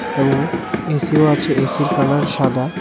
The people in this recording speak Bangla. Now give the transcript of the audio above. এবং এসিও আছে এসির কালার সাদা।